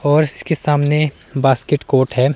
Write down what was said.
और इसके सामने बॉस्केट कोर्ट है।